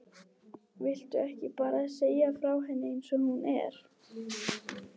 Viltu ekki bara segja frá henni eins og hún er?